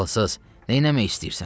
Ağılsız, neyləmək istəyirsən?